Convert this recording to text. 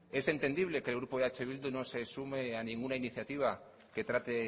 es entendible que el grupo eh bildu no se sume a ninguna iniciativa que trate